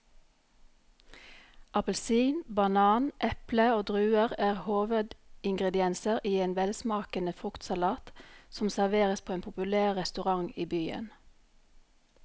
Appelsin, banan, eple og druer er hovedingredienser i en velsmakende fruktsalat som serveres på en populær restaurant i byen.